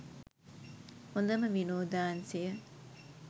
හොඳම විනෝදාංශය.